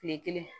Tile kelen